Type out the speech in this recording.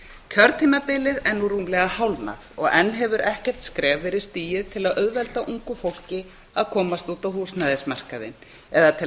kjörtímabilið er nú rúmlega hálfnað og enn hefur ekkert skref verið stigið til að auðvelda ungu fólki að komast út á húsnæðismarkaðinn eða til